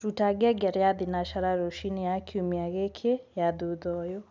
rũta ngengere ya thĩnacara rũcĩĩnĩ ya kĩumĩa giki ya thũtha ũyũ